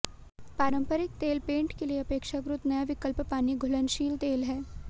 पारंपरिक तेल पेंट के लिए अपेक्षाकृत नया विकल्प पानी घुलनशील तेल है